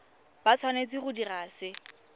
ba tshwanetse go dira se